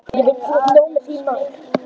Ég veit að þú átt nóg með þín mál.